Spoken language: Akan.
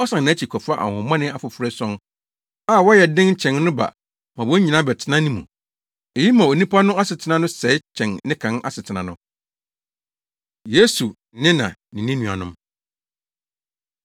ɔsan nʼakyi kɔfa ahonhommɔne afoforo ason a wɔyɛ den kyɛn no ba ma wɔn nyinaa bɛtena ne mu. Eyi ma onipa no asetena no sɛe kyɛn ne kan asetena no.” Yesu Ne Na Ne Ne Nuanom